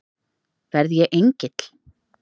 Verð ég engill?